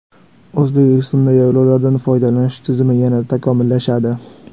O‘zbekistonda yaylovlardan foydalanish tizimi yanada takomillashadi.